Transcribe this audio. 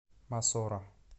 мосоро